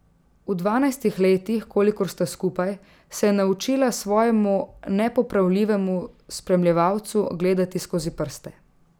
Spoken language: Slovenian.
V dvanajstih letih, kolikor sta skupaj, se je naučila svojemu nepopravljivemu spremljevalcu gledati skozi prste.